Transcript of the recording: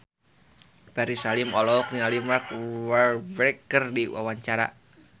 Ferry Salim olohok ningali Mark Walberg keur diwawancara